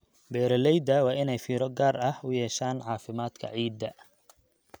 Beeralayda waa inay fiiro gaar ah u yeeshaan caafimaadka ciidda.